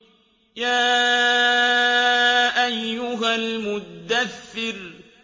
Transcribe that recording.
يَا أَيُّهَا الْمُدَّثِّرُ